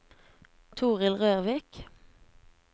Toril Rørvik